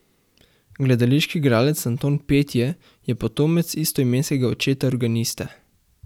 Gledališki igralec Anton Petje je potomec istoimenskega očeta organista.